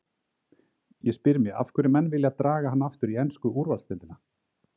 Ég spyr mig af hverju menn vilja draga hann aftur í ensku úrvalsdeildina?